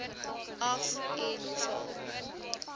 af en vul